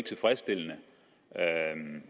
tilfredsstillende